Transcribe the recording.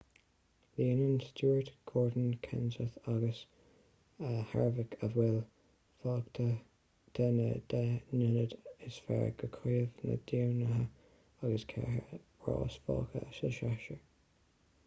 líonann stewart gordon kenseth agus harvick a bhfuil fágtha de na deich n-ionad is fearr do chraobh na dtiománaithe agus ceithre rás fágtha sa séasúr